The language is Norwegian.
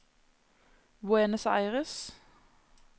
Buenos Aires